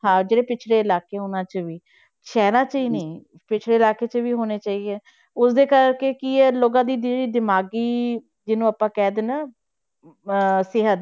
ਹਾਂ ਜਿਹੜੇ ਪਿੱਛੜੇ ਇਲਾਕੇ ਉਹਨਾਂ 'ਚ ਵੀ ਸ਼ਹਿਰਾਂ 'ਚ ਹੀ ਨੀ ਪਿੱਛੜੇ ਇਲਾਕੇ 'ਚ ਹੋਣੇ ਚਾਹੀਦੇ, ਉਸਦੇ ਕਰਕੇ ਕੀ ਹੈ ਲੋਕਾਂ ਦੀ ਜਿਹੜੀ ਦਿਮਾਗੀ ਜਿਹਨੂੰ ਆਪਾਂ ਕਹਿ ਦਿੰਦੇ ਹਾਂ ਅਹ ਸਿਹਤ